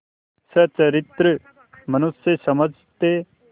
सच्चरित्र मनुष्य समझते